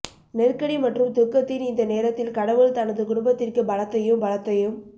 நெருக்கடி மற்றும் துக்கத்தின் இந்த நேரத்தில் கடவுள் தனது குடும்பத்திற்கு பலத்தையும் பலத்தையும்